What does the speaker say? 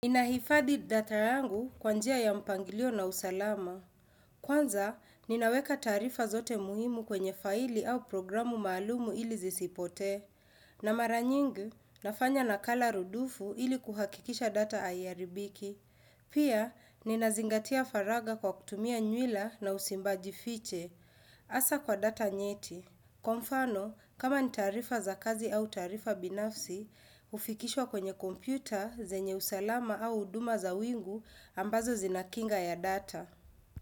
Nahifahdi data yangu kwa njia ya mpangilio na usalama. Kwanza, ninaweka taarifa zote muhimu kwenye faili au programu maalumu ili sizipotee. Na mara nyingi, nafanya nakala rudufu ili kuhakikisha data aiaribiki. Pia, ninazingatia faraga kwa kutumia nywila na usimbaji fiche, hasa kwa data nyeti. Kwa mfano, kama ni taarifa za kazi au taarifa binafsi, ufikishwa kwenye kompyuta, zenye usalama au uduma za wingu ambazo zinakinga ya data.